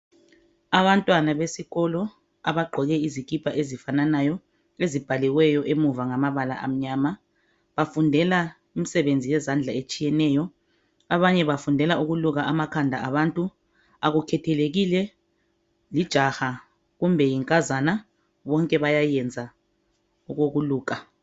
Abantwana besikolo abagqoke izikipa ezifananayo ezibhaliweyo emuva ngamabala amnyama bafundela imisebenzi yezandla etshiyeneyo, abanye bafundela ukuluka amakhanda abantu akukhethelekile lijaha kumbe yinkazana bonke bayayenza okokuluka.